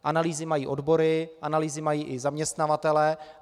Analýzy mají odbory, analýzy mají i zaměstnavatelé.